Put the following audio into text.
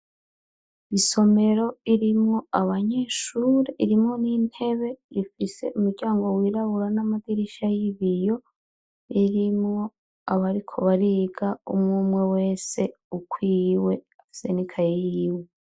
Isomero irimwo abanyeshure irimwo n'intebe ifise umuryango wirabura n'amadirisha y'ibiyo irimwo abariko bariga umwumwe wese ukwiwe afise nikaye yiwe.